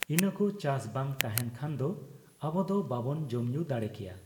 ᱤᱱᱟᱹᱠᱚ ᱪᱟᱥᱵᱟᱝ ᱛᱟᱦᱮᱱ ᱠᱷᱟᱱᱫᱚ ᱟᱵᱚᱫᱚ ᱵᱟᱵᱚᱱ ᱡᱚᱢᱧᱩ ᱫᱟᱲᱮᱠᱮᱭᱟ ᱾